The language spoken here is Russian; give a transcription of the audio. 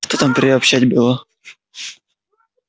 а что там приобщать было